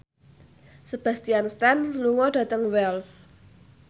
Sebastian Stan lunga dhateng Wells